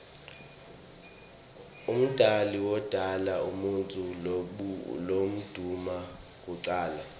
umdali wodala umuutfu lomdouna kucala